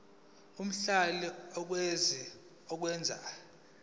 omhlali okwazi ukwenza